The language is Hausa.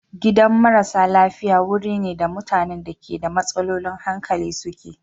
Gidan marasa hankali wuri ne da mutanen da ke da matsalolin hankali suke.